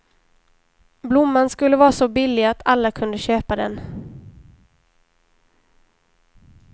Blomman skulle vara så billig att alla kunde köpa den.